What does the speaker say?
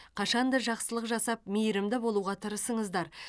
қашанда жақсылық жасап мейірімді болуға тырысыңыздар